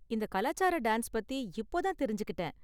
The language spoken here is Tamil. இந்த கலாச்சார டான்ஸ் பத்தி இப்போ தான் தெரிஞ்சுக்கிட்டேன்.